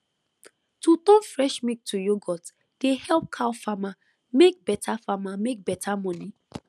to turn fresh milk to yoghurt dey help cow farmer make better farmer make better money